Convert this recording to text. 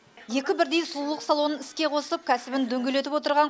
екі бірдей сұлулық салонын іске қосып кәсібін дөңгелетіп отырған